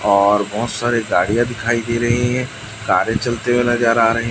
और बहुत सारे गाड़ियां दिखाई दे रही हैं कारें चलते हुए नजर आ रही--